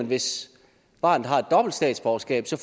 hvis barnet har et dobbelt statsborgerskab så